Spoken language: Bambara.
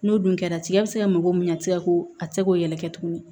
N'o dun kɛra tigɛ bɛ se ka mago min a tɛ se ka ko a tɛ se k'o yɛlɛ kɛ tuguni